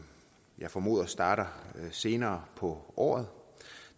jeg formoder starter senere på året